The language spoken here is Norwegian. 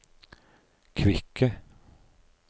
kvikke